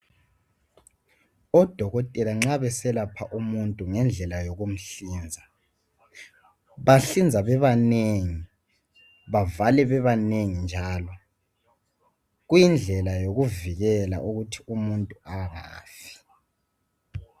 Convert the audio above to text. Odokotela nxa beselapha umuntu ngendlela yokumhlinza bahlinza bebanengi bavale bebanengi njalo kuyindlela yokuvikela ukuthi umuntu angafi.